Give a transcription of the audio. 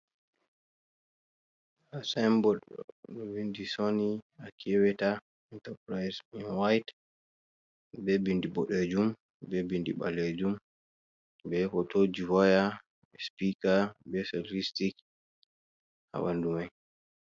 Haa sayinbot ɗo winndi Sooni Akeweta Intapurayis ,nden wayit, be binndi boɗeejum be binndi ɓaleejum, be hotooji waya, be sjpiika be sitatistik haa ɓanndu may.